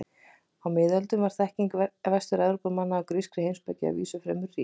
Á miðöldum var þekking Vestur-Evrópumanna á grískri heimspeki að vísu fremur rýr.